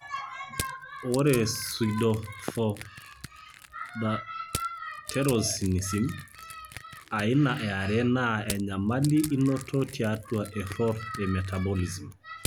Ore Pseudohypoaldosteronism aina 2 naa enyamali einoto tiatua error e metabolism.